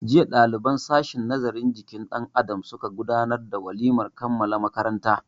Jiya ɗaliban sashin nazarin jikin dan Adam suka gudanar da walimar kammala makaranta.